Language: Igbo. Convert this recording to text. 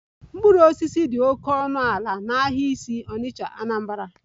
Mkpụrụ osisi dị oke ọnụ ala n'ahịa isi onitcha, Anambra